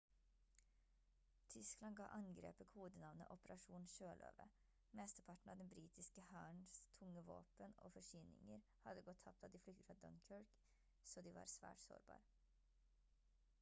tyskland gav angrepet kodenavnet «operasjon sjøløve». mesteparten av den britiske hærens tunge våpen og forsyninger hadde gått tapt da den flyktet fra dunkirk så de var svært sårbar